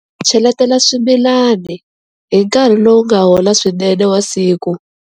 Cheletela swimilani hi nkarhi lowu nga hola swinene wa siku.